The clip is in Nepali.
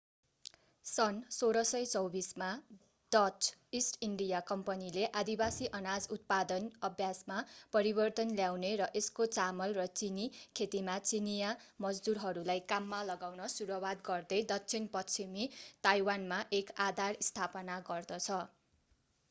सन् 1624 मा डच ईस्ट इन्डिया कम्पनीले आदिवासी अनाज उत्पादन अभ्यासमा परिवर्तन ल्याउने र यसको चामल र चिनी खेतीमा चिनियाँ मजदुरहरूलाई काममा लगाउन सुरुवात गर्दै दक्षिण पश्चिमी ताइवानमा एक आधार स्थापना गर्दछ